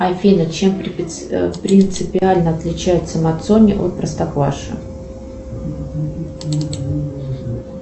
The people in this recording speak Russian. афина чем принципиально отличается мацони от простокваши